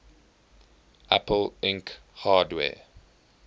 apple inc hardware